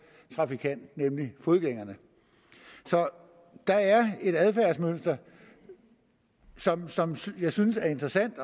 trafikant nemlig fodgængeren så der er et adfærdsmønster som jeg synes er interessant